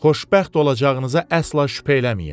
Xoşbəxt olacağınıza əsla şübhə eləməyin.